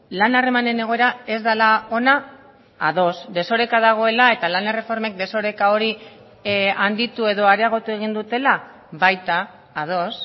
lan harremanen egoera ez dela ona ados desoreka dagoela eta lan erreformek desoreka hori handitu edo areagotu egin dutela baita ados